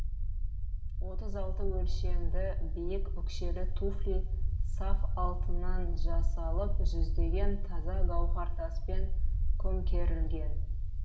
отыз алтыншы өлшемді биік өкшелі туфли саф алтыннан жасалып жүздеген таза гауһартаспен көмкерілген